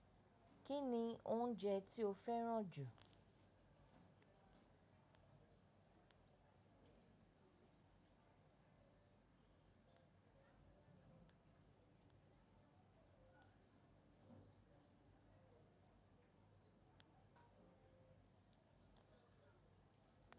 Kí ni oúnjẹ tí ó fẹ́ràn jù?